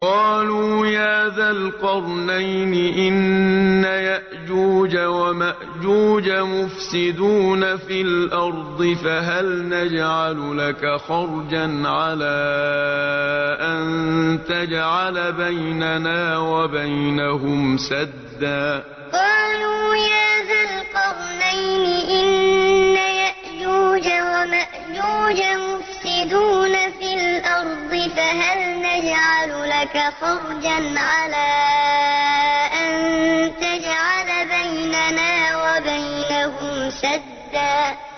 قَالُوا يَا ذَا الْقَرْنَيْنِ إِنَّ يَأْجُوجَ وَمَأْجُوجَ مُفْسِدُونَ فِي الْأَرْضِ فَهَلْ نَجْعَلُ لَكَ خَرْجًا عَلَىٰ أَن تَجْعَلَ بَيْنَنَا وَبَيْنَهُمْ سَدًّا قَالُوا يَا ذَا الْقَرْنَيْنِ إِنَّ يَأْجُوجَ وَمَأْجُوجَ مُفْسِدُونَ فِي الْأَرْضِ فَهَلْ نَجْعَلُ لَكَ خَرْجًا عَلَىٰ أَن تَجْعَلَ بَيْنَنَا وَبَيْنَهُمْ سَدًّا